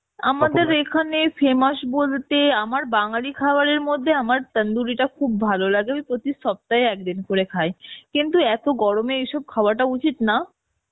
আমাদের এখানে famous বলতে আমার বাঙালি খাবারের মধ্যে আমার tandoori টা খুব ভালো লাগে, প্রতি সপ্তায় একদিন করে খাই কিন্তু এত গরমে এসব খাওয়াটা উচিত না